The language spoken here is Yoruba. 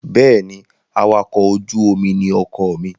Bẹ́ẹ̀ ni, awakọ̀-ojú-omi ní ọkọ mi.